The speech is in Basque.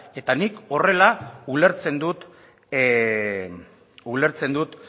eta nik horrela ulertzen dut